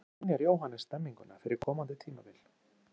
Hvernig skynjar Jóhannes stemninguna fyrir komandi tímabili?